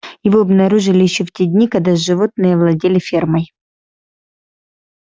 его обнаружили ещё в те дни когда животные овладели фермой